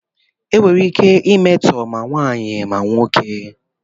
Enwere ike imetọ ma nwaanyị ma nwoke.